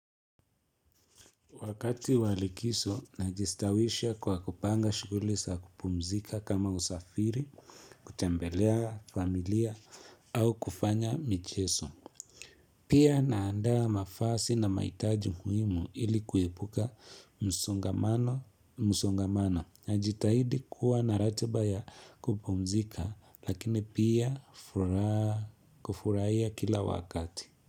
Wakati wa likizo najistawisha kwa kupanga shughuli za kupumzika kama usafiri, kutembelea familia au kufanya michezo Pia naandaa nafasi na mahitaji muhimu ili kuepuka msongamano. Najitahidi kuwa na ratiba ya kupumzika lakini pia kufurahia kila wakati.